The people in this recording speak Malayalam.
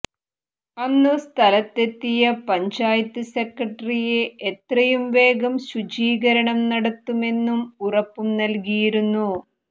അന്നു സ്ഥലത്തെത്തിയ പഞ്ചായത്ത് സെക്രട്ടറി എത്രയുംവേഗം ശുചീകരണം നടത്തുമെന്നു ഉറപ്പും നല്കിയിരുന്നു